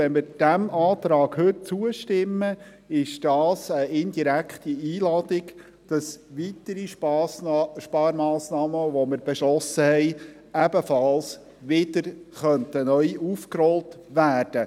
Wenn wir diesem Antrag heute zustimmen, ist dies eine indirekte Einladung dazu, weitere Sparmassnahmen, die wir beschlossen haben, wieder aufzurollen.